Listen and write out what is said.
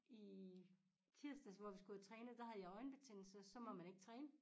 I tirsdags hvor vi skulle have trænet der havde jeg øjenbetændelse så må man ikke træne